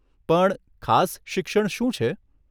પણ ખાસ શિક્ષણ શું છે?